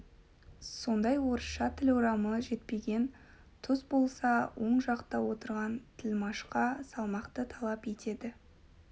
сондай орысша тіл орамы жетпеген тұс болса оң жақта отырған тілмашқа салмақты талап етеді